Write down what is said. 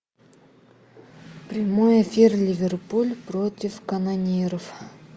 прямой эфир ливерпуль против канониров